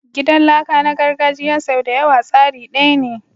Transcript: Gidan laka na gargajiya sau da yawa tsari daya ne.